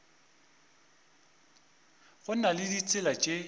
go na le ditsela tše